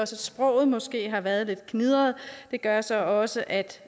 sproget måske har været lidt gnidret gør så også at